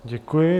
Děkuji.